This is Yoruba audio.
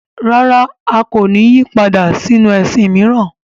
Rárá! A kò ní yí padà sínu ẹ̀sìn mìíràn.